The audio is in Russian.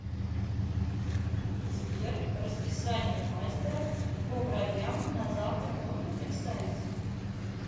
сбер расписание мастера по бровям на завтра можно представить